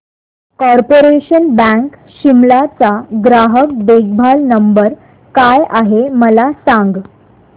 corporation bank Shimla चा ग्राहक देखभाल नंबर काय आहे मला सांग